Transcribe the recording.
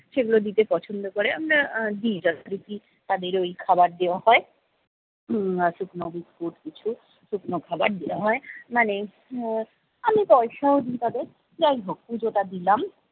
সেগুলো দিতে পছন্দ করে আমরা আহ দিই যাদের দেখি তাদেরই খাবার দেওয়া হয়। উম আর্থিক নগদ কিছু শুকনো খাবার দেওয়া হয় মানে উম আমি পয়সাও দিই তাদের, যাইহোক পুজোটা দিলাম।